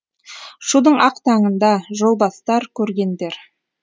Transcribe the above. шудың ақ таңында жол бастар көргендер